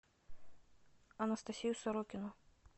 анастасию сорокину